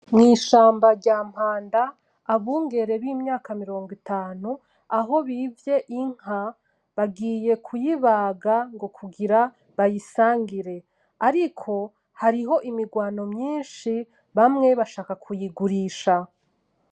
Mwishamba rya Mpanda, abungere bimyaka mirongo itanu aho bivye inka, bagiye kuyibaga ngo kugira bayisangire. Ariko hariho imigwano myinshi bamwe bashaka kuyigurisha.